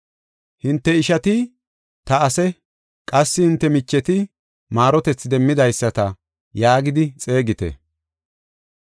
“Hinte ishata, ‘Ta ase’ qassi hinte micheta, ‘Maarotethi demmidaysata’ yaagidi xeegite.